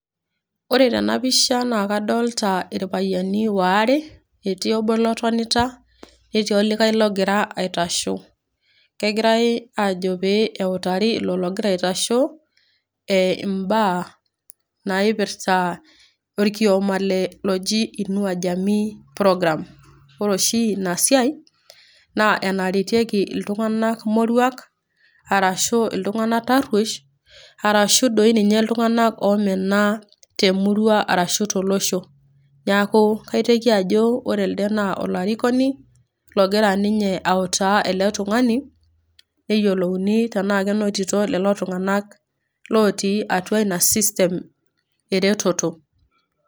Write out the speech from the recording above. ore tena pisha naa kadolta irpayiani waare, etii obo lotonita, netii olikae logira aitasho. kegirae aajo pee eitari ilo logira aitasho, imbaa naipirta orkioma loji, inua program. ore oshi ina siai naa enarietieki iltunganak moruak, arashu iltungana taruosh, arashu dii ninye iltunganak oomena, temurua. arashu tolosho. neeku kaiteki ajo ore elde naa olarikoni, logira ninye autaa ele tungani, pee eyiolouni tenaa kenotito lelo tunganak otii atu ina system eretoto.